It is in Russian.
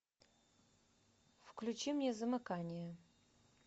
включи мне замыкание